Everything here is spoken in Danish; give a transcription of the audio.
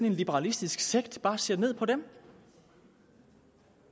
en liberalistisk sekt bare ser ned på dem